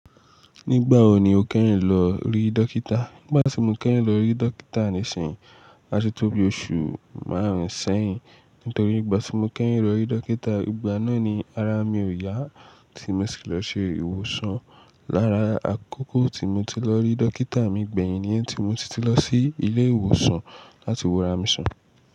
Nígbà wo ni o kẹ́yin lọ rí dọ́kítà? Nígbà tí mo kẹ́yin lọ rí dọ́kítà nísìnyí, a ti tóbi oṣù márùn-ún sẹ́yìn. Nítorí ìgbà tí mo kẹyin lọ rí dọ́kítà, ìgbà náà ni ara mi ò yá tí mo sì lọ sí ilé ìwòsàn. Lára àkókò tí mo ti lọ rí dọ́kítà, mi gbẹyin niyẹn, tí mo si ti lọ sí ilé ìwòsàn láti wo ara mi sàn.